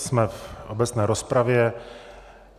Jsme v obecné rozpravě.